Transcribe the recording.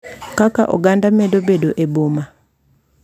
Kaka oganda medo bedo e boma,